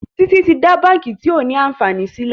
Títí tí dá bánkì tio ní ànfàní sílè.